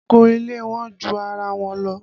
Aago ilé wọ́n ju ara wọn lọ